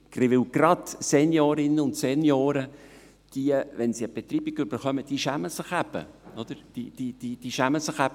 Gerade Seniorinnen und Senioren schämen sich dafür, wenn sie eine Betreibung erhalten.